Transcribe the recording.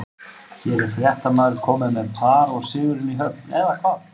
Hér er fréttamaður kominn með par og sigurinn í höfn, eða hvað?